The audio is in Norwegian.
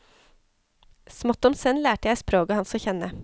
Smått om senn lærte jeg språket hans å kjenne.